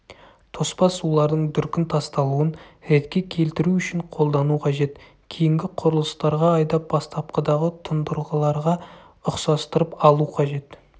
тоспа сулардың дүркін тасталуын ретке келтіру үшін қолдану қажет кейінгі құрылыстарға айдап бастапқыдағы тұндырғыларға ұқсастырып алу қажет